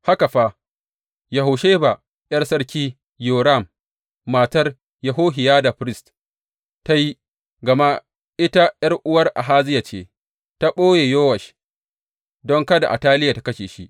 Haka fa, Yehosheba ’yar sarki Yoram, matar Yehohiyada firist, ta yi, gama ita ’yar’uwar Ahaziya ce, ta ɓoye Yowash don kada Ataliya tă kashe shi.